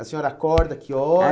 A senhora acorda, que